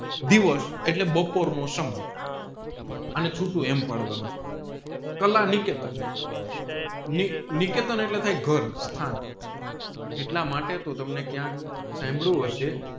દિવસ એટલે બપોર નો સમય અને ચૂંટુ એમ પાડવાનું છે કલાનિકેતન નિકેતન એટલે થાય ઘર સ્થાન એટલા માટે તોહ તમને ક્યાંક સાંભળું હશે